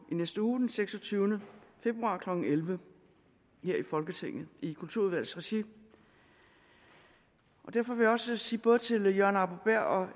næste uge den seksogtyvende februar klokken elleve her i folketinget i kulturudvalgets regi og derfor vil jeg også sige både til herre jørgen arbo bæhr og